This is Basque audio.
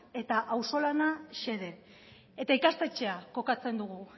eta auzo lana xede eta ikastetxea kokatzen dugu